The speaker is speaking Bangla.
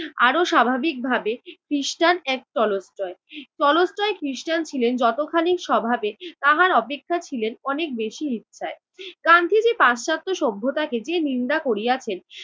আরও স্বাভাবিকভাবে খৃষ্টান এক টলস্টয়। টলস্টয় খৃষ্টান ছিলেন যতখানি স্বভাবে তাহার অপেক্ষা ছিলেন অনেক বেশি ইচ্ছায়। গান্ধীজি পাশ্চাত্য সভ্যতাকে নিন্দা করিয়াছেন